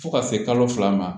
Fo ka se kalo fila ma